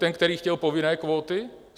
Ten, který chtěl povinné kvóty?